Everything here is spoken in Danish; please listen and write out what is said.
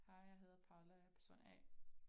Hej jeg hedder Paula jeg er person A